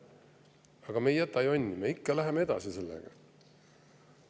Aga me ei jäta jonni ja läheme ikka sellega edasi.